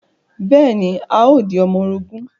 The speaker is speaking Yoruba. Bẹ́ẹ̀ ni, a o di ọmọ orogún